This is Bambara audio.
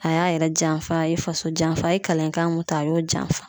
A y'a yɛrɛ janfa, a ye faso janfa, a ye kalankan mun ta a y'o janfa.